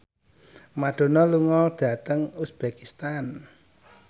Madonna lunga dhateng uzbekistan